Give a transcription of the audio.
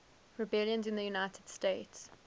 rebellions in the united states